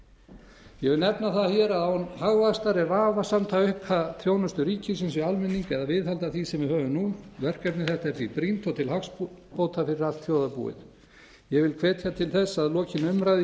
vil nefna það hér að án hagvaxtar er vafasamt að auka þjónustu ríkisins við almenning eða viðhalda því sem við höfum nú verkefni þetta er því brýnt og til hagsbóta fyrir allt þjóðarbúið ég vil hvetja til þess að lokinni umræðu